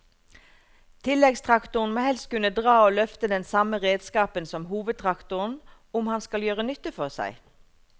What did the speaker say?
Tilleggstraktoren må helst kunne dra og løfte den samme redskapen som hovedtraktoren om han skal gjøre nytte for seg.